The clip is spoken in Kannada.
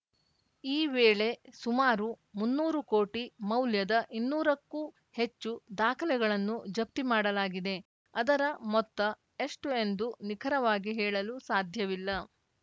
ಈ ವೇಳೆ ಸುಮಾರು ಮುನ್ನೂರು ಕೋಟಿ ಮೌಲ್ಯದ ಇನ್ನೂರಕ್ಕೂ ಹೆಚ್ಚು ದಾಖಲೆಗಳನ್ನು ಜಪ್ತಿ ಮಾಡಲಾಗಿದೆ ಅದರ ಮೊತ್ತ ಎಷ್ಟುಎಂದು ನಿಖರವಾಗಿ ಹೇಳಲು ಸಾಧ್ಯವಿಲ್ಲ